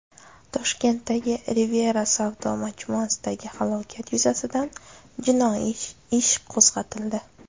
Toshkentdagi Riviera savdo majmuasidagi halokat yuzasidan jinoiy ish qo‘zg‘atildi.